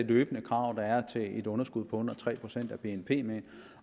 det løbende krav der er til et underskud på under tre procent af bnp med ind